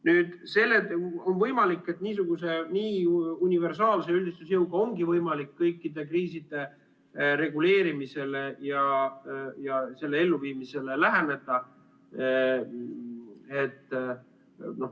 Nüüd, on võimalik, et niisuguse universaalse üldistusjõuga ongi võimalik kõikide kriiside reguleerimisele ja selle elluviimisele läheneda.